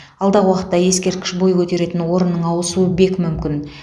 алдағы уақытта ескерткіш бой көтеретін орынның ауысуы бек мүмкін